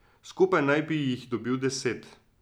Skupaj naj bi jih dobili deset.